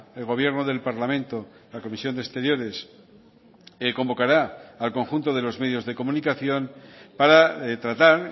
el gobierno del parlamento la comisión de exteriores convocará al conjunto de los medios de comunicación para tratar